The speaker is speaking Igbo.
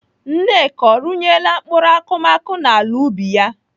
Nneka ọ rụnyela mkpụrụ akụmakụ n'ala ubi ya?